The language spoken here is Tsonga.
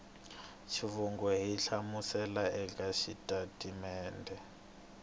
xivongo ku hlamusela eka xitatimede